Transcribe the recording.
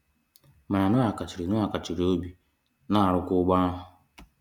Mana Noah kachiri Noah kachiri obi na-arụ kwa ụgbọ ahụ.